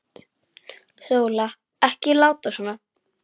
Sóla, ekki láta svona.